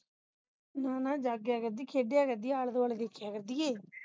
ਨਾ ਨਾ ਜਾਗਿਆ ਕਰਦੀ ਖੇਡਿਆ ਕਰਦੀ ਆਲੇ ਦੁਆਲੇ ਵੇਖਿਆ ਕਰਦੀ ਹੈ